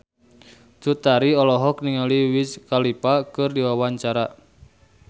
Cut Tari olohok ningali Wiz Khalifa keur diwawancara